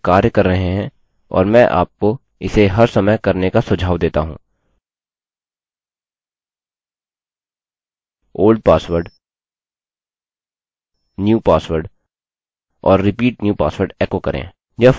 सुनिश्चित करने के लिए कि ये कार्य कर रहे हैं और मैं आपको इसे हर समय करने का सुझाव देता हूँ old password new password और repeat new password एको करें